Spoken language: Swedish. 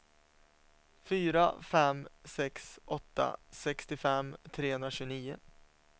fyra fem sex åtta sextiofem trehundratjugonio